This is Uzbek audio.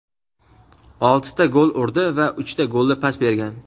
oltita gol urdi va uchta golli pas bergan.